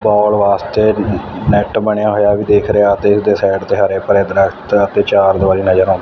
ਕਾਲ ਵਾਸਤੇ ਨੈਟ ਬਣਿਆ ਹੋਇਆ ਵੀ ਦੇਖ ਰਿਹਾ ਤੇ ਉਹਦੇ ਸਾਈਡ ਤੇ ਹਰੇ ਭਰੇ ਦਰਖਤ ਤੇ ਚਾਰ ਦਵਾਰੀ ਨਜ਼ਰ ਆਨ--